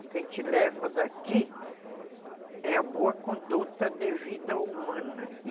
O que a gente leva daqui é a boa conduta de vida humana.